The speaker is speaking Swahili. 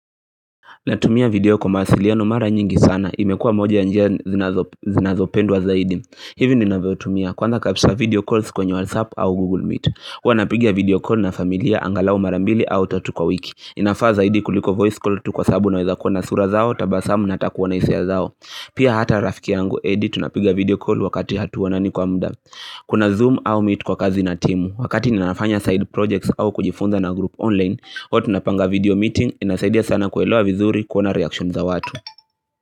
Natumia video kwa mawasiliano mara nyingi sana. Imekua moja ya njia zinazopendwa zaidi. Hivi ninavyotumia. Kwanza kabisa video calls kwenye WhatsApp au Google Meet. Huwa napiga video call na familia angalau mara mbili au tatu kwa wiki. Inafaa zaidi kuliko voice call tu kwa sabu naweza kuona sura zao tabasamu na hata kuona hisia zao. Pia hata rafiki yangu edi tunapiga video call wakati hatuonani kwa muda. Kuna zoom au meet kwa kazi na timu Wakati ninafanya side projects au kujifunza na group online huwa tupanga video meeting inasaidia sana kuelewa vizuri kuona reaction za watu.